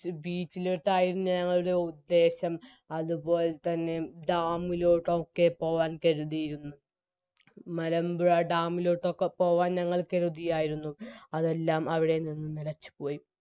beach ലോട്ടയിരുന്നു ഞങ്ങളുടെ ഉദ്ദേശം അതുപോലതന്നെ dam ലോട്ട് ഒക്കെ പോകാൻ കരുതിയിരുന്നു മലമ്പുഴ dam ലോട്ടൊക്കെ പോകാൻ ഞങ്ങൾ കരുതിയായിരുന്നു അതെല്ലാം അവിടെനിന്നും നിലച്ചുപോയി